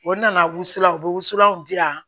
O nana wusulan u bɛ wusulanw gilan